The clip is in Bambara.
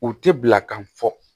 U tɛ bila ka fɔ